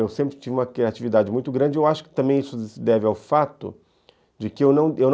Eu sempre tive uma criatividade muito grande, eu acho que também isso se deve ao fato de que eu não eu não